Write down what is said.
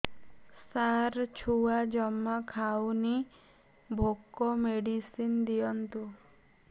ସାର ଛୁଆ ଜମା ଖାଉନି ଭୋକ ମେଡିସିନ ଦିଅନ୍ତୁ